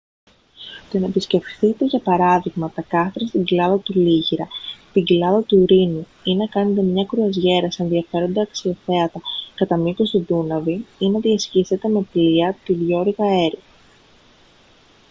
το να επισκεφθείτε για παράδειγμα τα κάστρα στην κοιλάδα του λίγηρα την κοιλάδα του ρήνου ή να κάνετε μια κρουαζιέρα σε ενδιαφέροντα αξιοθέατα κατά μήκος του δούναβη ή να διασχίσετε με πλοία τη διώρυγα έρι